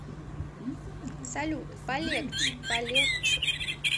салют полегче полегче